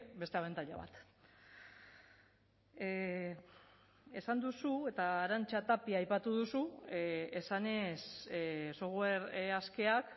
beste abantaila bat esan duzu eta arantxa tapia aipatu duzu esanez software askeak